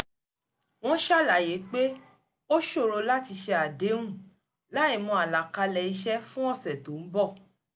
wọ́n ṣàlàyé pé ó ṣòro láti ṣe àdéhùn láìmọ̀ àlàkalẹ̀ iṣẹ́ fún ọ̀ṣẹ̀ tó ń bọ̀